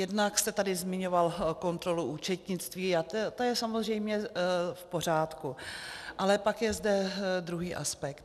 Jednak jste tady zmiňoval kontrolu účetnictví a to je samozřejmě v pořádku, ale pak je zde druhý aspekt.